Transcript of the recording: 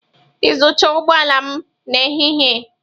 Iyuzucha ụgbọ ala m na ehi ehi.